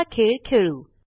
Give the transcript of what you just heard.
चला खेळ खेळू